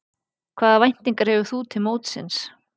Hvaða væntingar hefur þú til mótsins?